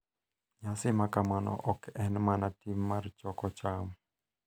Nyasi makamano ok en mana tim mar choko cham;